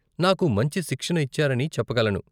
నాకు మంచి శిక్షణ ఇచ్చారని చెప్పగలను.